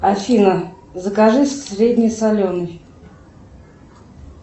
афина закажи среднесоленый